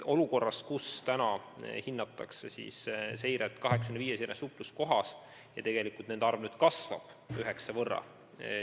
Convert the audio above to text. Praegu tehakse seiret 85 supluskohas ja nende arv nüüd kasvab üheksa võrra.